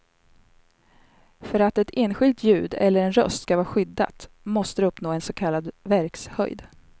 För att ett enskilt ljud eller en röst ska vara skyddat, måste det uppnå en så kallad verkshöjd.